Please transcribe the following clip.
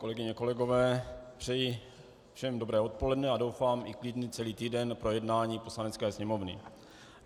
Kolegyně, kolegové, přeji všem dobré odpoledne a doufám i klidný celý týden pro jednání Poslanecké sněmovny.